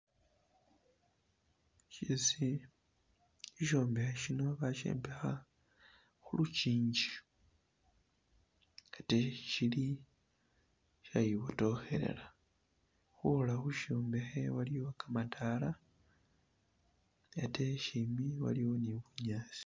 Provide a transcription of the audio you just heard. Shisi, ishombekhe shino bashombekha khulukingi ate shili shayibotokhelela khwola khu shombekhe waliyo kamadala ate shimbi waliyo ne bunyasi.